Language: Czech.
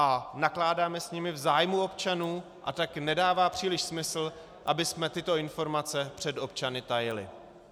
A nakládáme s nimi v zájmu občanů, a tak nedává příliš smysl, abychom tyto informace před občany tajili.